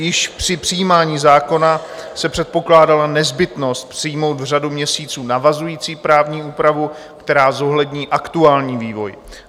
Již při přijímání zákona se předpokládala nezbytnost přijmout v řádu měsíců navazující právní úpravu, která zohlední aktuální vývoj.